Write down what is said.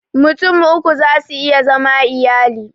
Mutum uku za su iya zama iyali